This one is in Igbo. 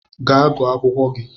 Ga gụọ akwụkwọ gi!